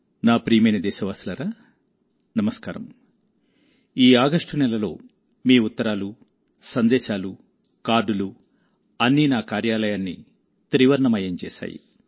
నా ప్రియమైన దేశవాసులారా నమస్కారం ఈ ఆగస్టు నెలలోమీ ఉత్తరాలు సందేశాలు కార్డులు అన్నీ నా కార్యాలయాన్ని త్రివర్ణమయం చేశాయి